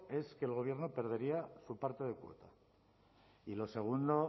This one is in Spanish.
es que el gobierno perdería su parte de cuota y lo segundo